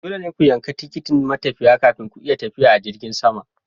Dole ne ku yanki tikitin matafiya kafin ku iya tafiya a jirgin sama.